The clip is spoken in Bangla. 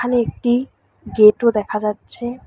এখানে একটি গেটও দেখা যাচ্ছে।